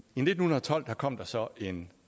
nitten tolv kom der så en